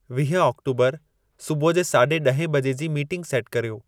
वीहं ऑक्टोबरु सुबुह जे साढे ॾहें बजे जी मीटिंग सेटु कर्यो